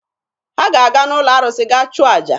Ha ga-aga n'ụlọ arụsị gaa chụọ aja.